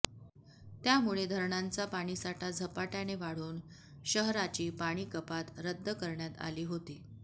त्यामुळे धरणांचा पाणीसाठा झपाट्याने वाढून शहराची पाणीकपात रद्द करण्यात आली होती